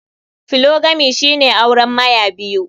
Polygamy shine auren Maya biyu.